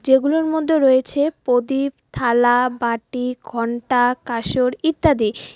এগুলোর মধ্যে রয়েছে পদীপ থালা বাটি ঘন্টা কাসর ইত্যাদি।